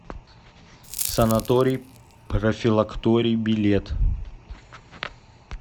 санаторий профилакторий билет